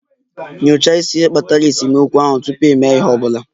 Nyochaa isi ihe kpatara esemokwu ahụ tupu ịme ihe ọ bụla